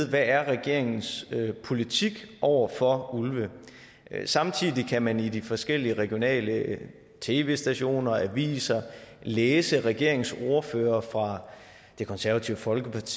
hvad regeringens politik er over for ulve samtidig kan man i de forskellige regionale tv stationer og aviser læse at regeringens ordførere fra det konservative folkeparti